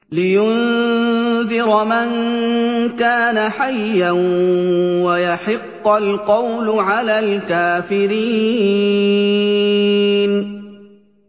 لِّيُنذِرَ مَن كَانَ حَيًّا وَيَحِقَّ الْقَوْلُ عَلَى الْكَافِرِينَ